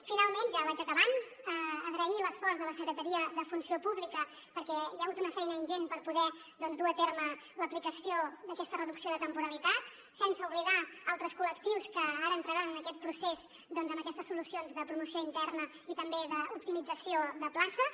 finalment ja vaig acabant agrair l’esforç de la secretaria d’administració i funció pública perquè hi ha hagut una feina ingent per poder doncs dur a terme l’aplicació d’aquesta reducció de temporalitat sense oblidar altres col·lectius que ara entraran en aquest procés amb aquestes solucions de promoció interna i també d’optimització de places